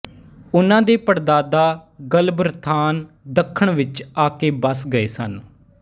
ਉਨ੍ਹਾਂ ਦੇ ਪੜਦਾਦਾ ਗਲਬਰਥਾਨ ਦੱਖਣ ਵਿੱਚ ਆਕੇ ਬਸ ਗਏ ਸਨ